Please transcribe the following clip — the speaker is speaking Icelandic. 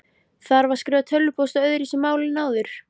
Þarf að skrifa tölvupóst á öðruvísi máli en áður?